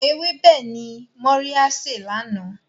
Ewébẹ̀ ni Mọ́ríá sè lánàá.